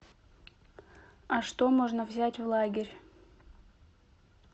а что можно взять в лагерь